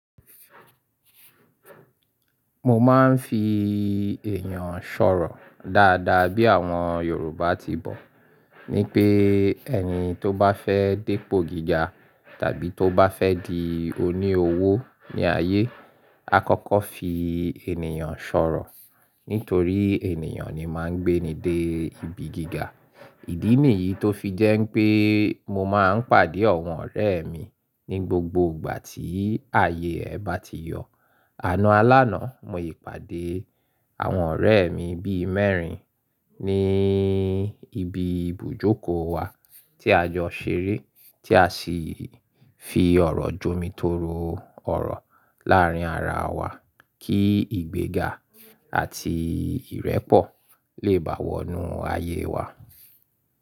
Mo máa ń fi èèyàn ṣọ̀rọ̀ dáadáa bí àwọn Yorùbá ti bọ̀. Ni pé ẹni tó bá fẹ́ dépo gíga tàbí tó bá fẹ́ di oní owó ní ayé, a kọ́kọ́ fi ènìyàn ṣọ̀rọ̀. Nítorí ènìyàn ni máa ń gbé ni dé ibi gíga. Ìdí nìyí tó fi jẹ́ pé mo máa ń pàdé àwọn ọ̀rẹ́ mi ní gbogbo ìgbà tí ayé ẹ bá ti yọ̀. Àná alána, mo ì pàdé àwọn ọ̀rẹ́ mi bí mẹ́rin ní ibi ibùjókòó wa tí a jọ ṣeré, tí a sì fi ọ̀rọ̀ jomitoro ọ̀rọ̀ láàárín ara wa kí ìgbéga àti ìrẹ́pọ̀ lè bá wọnú ayé wa.